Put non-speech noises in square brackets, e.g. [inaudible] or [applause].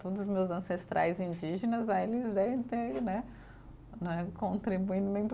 Todos os meus ancestrais indígenas, aí eles tem né [unintelligible]